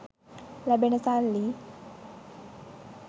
ලැබෙන සල්ලි